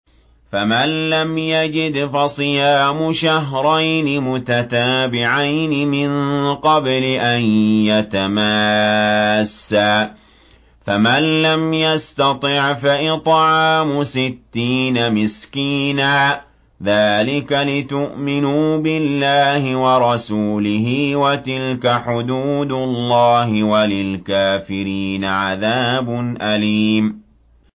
فَمَن لَّمْ يَجِدْ فَصِيَامُ شَهْرَيْنِ مُتَتَابِعَيْنِ مِن قَبْلِ أَن يَتَمَاسَّا ۖ فَمَن لَّمْ يَسْتَطِعْ فَإِطْعَامُ سِتِّينَ مِسْكِينًا ۚ ذَٰلِكَ لِتُؤْمِنُوا بِاللَّهِ وَرَسُولِهِ ۚ وَتِلْكَ حُدُودُ اللَّهِ ۗ وَلِلْكَافِرِينَ عَذَابٌ أَلِيمٌ